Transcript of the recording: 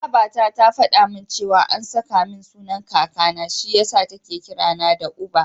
Babata ta faɗa min cewa an saka min sunan Kakana, shi yasa take kira na da Uba.